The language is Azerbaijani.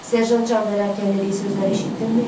Serjant can verərkən dediyi sözləri eşitdinmi?